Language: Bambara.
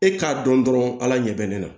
E k'a dɔn dɔrɔn ala ɲɛ bɛ ne la